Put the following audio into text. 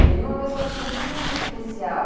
E ele é uma pessoa muito especial.